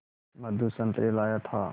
मधु संतरे लाया था